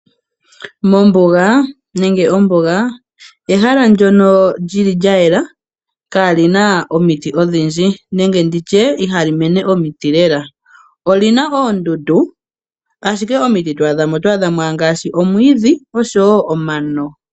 Ombunga ehala ndyono lya yela kaali na omiti odhindji nenge ihaali mene omiti lela. Oli na oondundu, ashike omiti to adha mo oto adha mo ngaashi omwiidhi oshowo omano.